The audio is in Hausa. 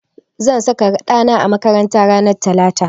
Zan saka ɗa na a makaranta ranar talata.